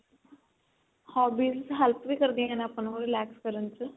hobbies help ਵੀ ਕਰਦੀਆਂ ਨੇ ਆਪਾਂ ਨੂੰ relax ਕਰਨ ਚ